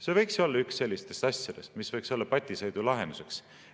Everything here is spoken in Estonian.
See võiks olla üks sellistest asjadest, mis võiks olla patiseisu lahenduseks.